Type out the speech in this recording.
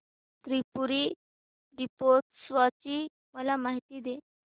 त्रिपुरी दीपोत्सवाची मला माहिती दे